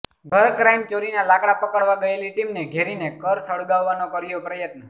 ઘર ક્રાઈમ ચોરીના લાકડા પકડવા ગયેલી ટીમને ઘેરીને કર સળગાવવાનો કર્યો પ્રયત્ન